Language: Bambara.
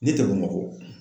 Ne tɛ Bamakɔ